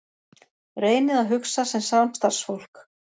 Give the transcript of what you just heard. Reynið að hugsa sem samstarfsfólk.